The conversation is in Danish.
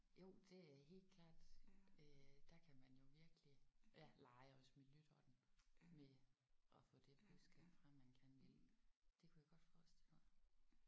Jo det er helt klart øh der kan man jo virkelig ja lege også med lytteren med at få det budskab frem man gerne vil. Det kunne jeg godt forestille mig